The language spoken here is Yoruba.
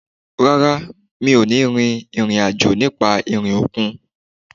Rárá, mi ò ní rin ìrìn àjò nípa orí òkun